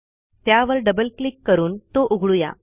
त्यावर double click करून तो उघडू या